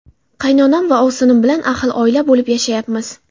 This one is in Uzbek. Qaynonam va ovsinim bilan ahil oila bo‘lib yashayapmiz.